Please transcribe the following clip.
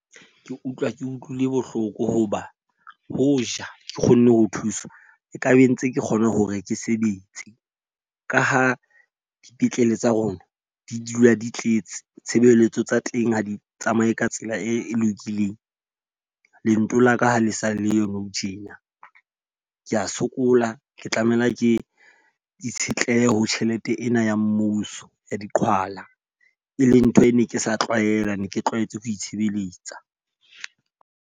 Ke utlwa ke utlwile bohloko ho ba ho ja ke kgonne ho thuswa e ka be ntse ke kgona hore ke sebetse. Ka ha dipetlele tsa rona di dula di tletse. Tshebeletso tsa teng ha di tsamaye ka tsela e lokileng. Lento la ka ha le sa leyo nou tjena. Ke a sokola ke tlamehile ke itshetleha ho tjhelete ena ya mmuso ya diqhwala. E leng ntho e ne ke sa tlwaela, ne ke tlwaetse ho itshebeletsa.